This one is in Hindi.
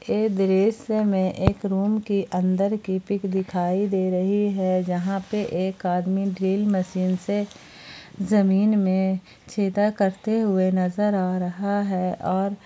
इस दृश्य में एक रूम के अंदर की पिक दिखाई दे रही है जहां पे एक आदमी ड्रिल मशीन से जमीन में छेदा करते हुए नजर आ रहा हैं और--